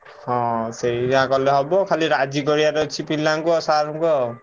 ହଁ ସେୟା କଲେ ହବ ଖାଲି ରାଜି କରିଆର ଅଛି ପିଲାଙ୍କୁ ଆଉ sir ଙ୍କୁ ଆଉ।